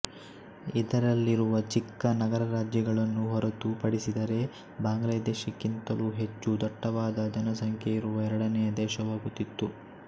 ಇದರಲ್ಲಿರುವ ಚಿಕ್ಕ ನಗರರಾಜ್ಯಗಳನ್ನು ಹೊರತು ಪಡಿಸಿದರೆ ಬಾಂಗ್ಲಾದೇಶಕ್ಕಿಂತಲೂ ಹೆಚ್ಚು ದಟ್ಟವಾದಜನಸಂಖ್ಯೆಯಿರುವ ಎರಡನೆಯ ದೇಶವಾಗುತ್ತಿತ್ತು